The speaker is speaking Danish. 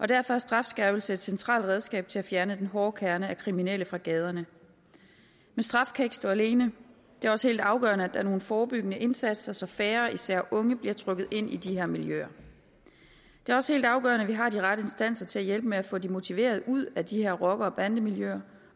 derfor er strafskærpelse et centralt redskab til at fjerne den hårde kerne af kriminelle fra gaderne men straf kan ikke stå alene det er også helt afgørende at der er nogle forebyggende indsatser så færre især unge bliver trukket ind i de her miljøer det er også helt afgørende at vi har de rette instanser til at hjælpe med at få de motiverede ud af de her rocker og bandemiljøer